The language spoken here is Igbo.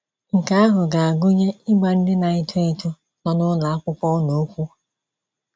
Nke ahụ ga - agụnye ịgwa ndị na - eto eto nọ n’ụlọ akwụkwọ unu okwu.